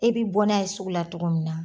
E bi bɔ n'a ye sugu la togo min na